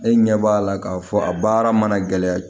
E ɲɛ b'a la k'a fɔ a baara mana gɛlɛya